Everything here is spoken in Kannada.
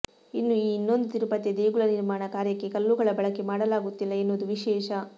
ಇನ್ನು ಈ ಇನ್ನೊಂದು ತಿರುಪತಿಯ ದೇಗುಲ ನಿರ್ಮಾಣ ಕಾರ್ಯಕ್ಕೆ ಕಲ್ಲುಗಳ ಬಳಕೆ ಮಾಡಲಾಗುತ್ತಿಲ್ಲ ಎನ್ನುವುದು ವಿಶೇಷ